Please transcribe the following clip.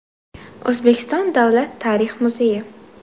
O‘zbekiston Davlat tarix muzeyi.